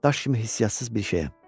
Daş kimi hisssiyatsız bir şeyəm.